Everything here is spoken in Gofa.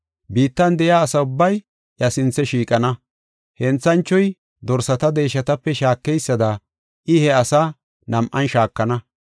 Biittan de7iya asi ubbay iya sinthe shiiqana. Henthanchoy dorsata deeshatape shaakeysada I he asaa nam7an shaakana.